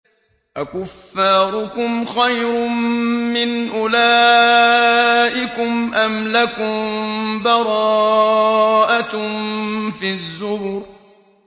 أَكُفَّارُكُمْ خَيْرٌ مِّنْ أُولَٰئِكُمْ أَمْ لَكُم بَرَاءَةٌ فِي الزُّبُرِ